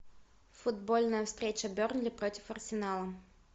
футбольная встреча бернли против арсенала